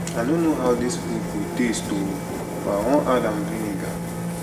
i no know how dis food go taste oo but i wan add am vinegar